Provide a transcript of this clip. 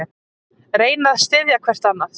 Reyna að styðja hvert annað